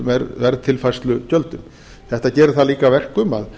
verðtilfærslugjöldum þetta gerir það líka að verkum að